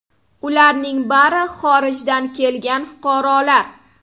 Ularning bari xorijdan kelgan fuqarolar.